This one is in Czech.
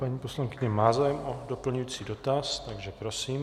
Paní poslankyně má zájem o doplňující dotaz, takže prosím.